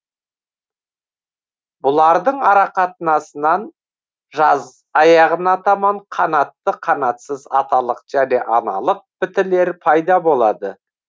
бұлардың арақатынасынан жаз аяғына таман қанатты қанатсыз аталық және аналық бітілер пайда болады